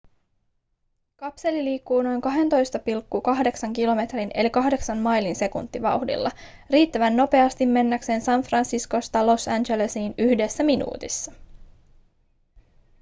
kapseli liikkuu noin 12,8 kilometrin eli 8 mailin sekuntivauhdilla riittävän nopeasti mennäkseen san franciscosta los angelesiin yhdessä minuutissa